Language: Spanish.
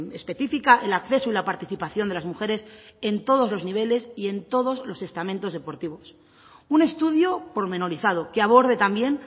específica el acceso y la participación de las mujeres en todos los niveles y en todos los estamentos deportivos un estudio pormenorizado que aborde también